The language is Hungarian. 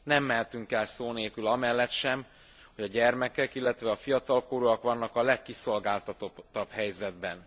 Nem mehetünk el szó nélkül amellett sem, hogy a gyermekek, illetve a fiatalkorúak vannak a legkiszolgáltatottabb helyzetben.